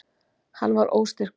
Hann var óstyrkur.